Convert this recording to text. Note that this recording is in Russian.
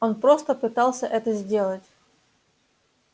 он просто пытался это сделать